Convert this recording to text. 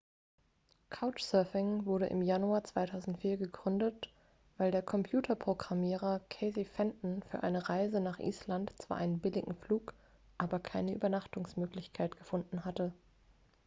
couchsurfing wurde im januar 2004 gegründet weil der computerprogrammierer casey fenton für eine reise nach island zwar einen billigen flug aber keine übernachtungsmöglichkeit gefunden hatte